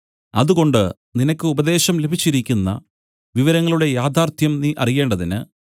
അതുകൊണ്ട് നിനക്ക് ഉപദേശം ലഭിച്ചിരിക്കുന്ന വിവരങ്ങളുടെ യാഥാർത്ഥ്യം നീ അറിയേണ്ടതിന്